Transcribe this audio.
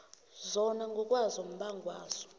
zona ngokwazo umbangwazo